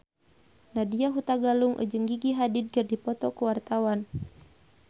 Nadya Hutagalung jeung Gigi Hadid keur dipoto ku wartawan